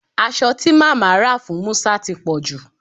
Aso ti mama ra fun Musa ti poju